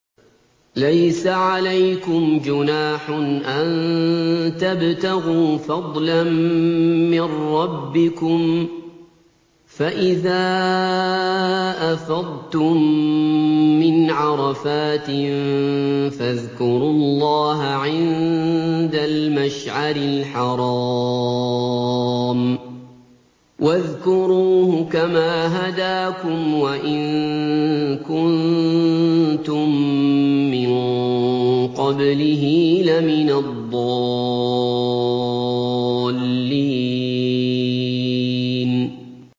لَيْسَ عَلَيْكُمْ جُنَاحٌ أَن تَبْتَغُوا فَضْلًا مِّن رَّبِّكُمْ ۚ فَإِذَا أَفَضْتُم مِّنْ عَرَفَاتٍ فَاذْكُرُوا اللَّهَ عِندَ الْمَشْعَرِ الْحَرَامِ ۖ وَاذْكُرُوهُ كَمَا هَدَاكُمْ وَإِن كُنتُم مِّن قَبْلِهِ لَمِنَ الضَّالِّينَ